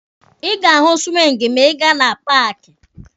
Ị ga-ahụ siwingi ma ị gaa na paaki.